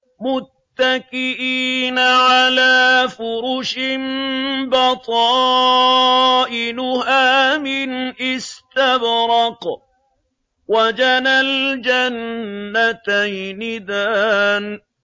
مُتَّكِئِينَ عَلَىٰ فُرُشٍ بَطَائِنُهَا مِنْ إِسْتَبْرَقٍ ۚ وَجَنَى الْجَنَّتَيْنِ دَانٍ